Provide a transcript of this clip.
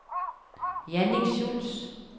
Jannik Schulz